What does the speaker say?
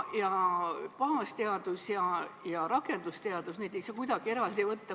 Baasteadust ja rakendusteadust ei saa kuidagi eraldi võtta.